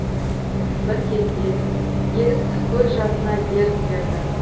бір кезде еріксіз көз жасына ерік берді